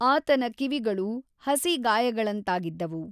ಆತನ ಕಿವಿಗಳು ಹಸಿ ಗಾಯಗಳಂತಾಗಿದ್ದವು.